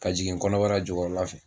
Ka jigin kɔnɔbara jukɔrɔ la fɛ.